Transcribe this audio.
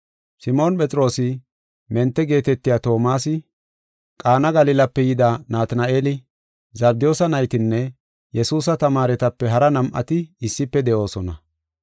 Simoon Phexroosi, Mente geetetiya Toomasi, Qaana Galilape yida Natina7eeli, Zabdiyoosa naytinne Yesuusa tamaaretape hara nam7ati issife de7oosona.